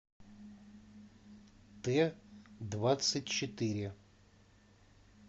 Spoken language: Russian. т двадцать четыре